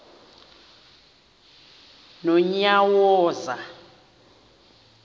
nonyawoza